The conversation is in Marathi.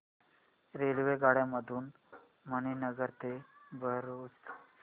रेल्वेगाड्यां मधून मणीनगर ते भरुच